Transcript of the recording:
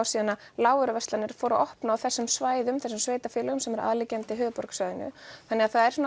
síðan að lágvöruverslanir fóru að opna á þessum svæðum þessum sveitarfélögum sem eru aðliggjandi höfuðborgarsvæðinu þannig að það er